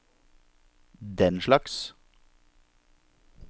denslags